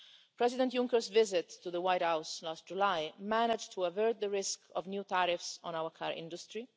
President Juncker's visit to the White House last July managed to avert the risk of new tariffs on our car industry.